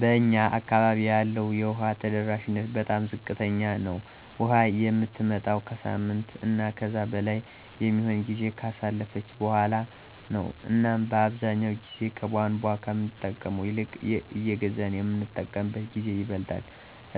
በእኛ አካባቢ ያለው የውሃ ተደራሽነት በጣም ዝቅተኛ ነው። ውሃ የምትመጣውም ከሳምንት እና ከዛ በላይ የሚሆን ጊዜን ካሳለፈች በኋላ ነው እናም አብዛኛውን ጊዜ ከቧንቧ ከምንጠቀመው ይልቅ እየገዛን የምንጠቀምበት ጊዜ ይበልጣል።